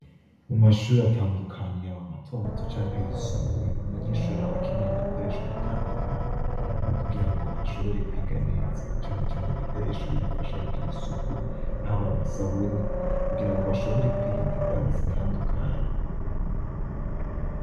Mu mashuri atandukanye yaba matomato canke yisumbuye, umunyeshuri aba akeneye udukoresho dutandukanye kugira ngo ashobore kwiga neza, cane cane ibikoresho bimufasha kugira isuku, haba amasabuni kugira ngo ashobore kwirinda ingwara zitandukanye.